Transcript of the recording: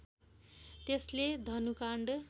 त्यसले धनुकाँड